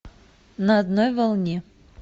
на одной волне